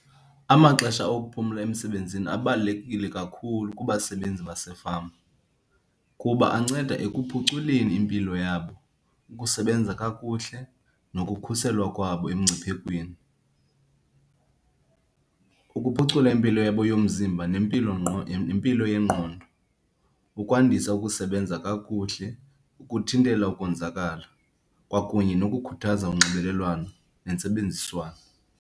Amaxesha okuphumla emsebenzini abalulekile kakhulu kubasebenzi basefama kuba anceda ekuphuculeni impilo yabo, ukusebenza kakuhle, nokukhuselwa kwabo emngciphekweni, ukuphucula impilo yabo yomzimba nempilo nempilo yengqondo, ukwandisa ukusebenza kakuhle, ukuthintela ukonzakala kwakunye nokukhuthaza unxibelelwano nentsebenziswano.